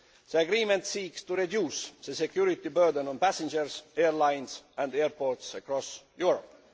The agreement seeks to reduce the security burden on passengers, airlines and airports across Europe.